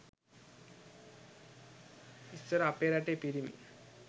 ඉස්සර අපේ රටේ පිරිමි